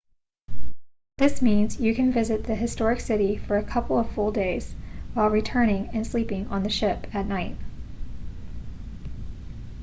this means you can visit the historic city for a couple of full days while returning and sleeping on the ship at night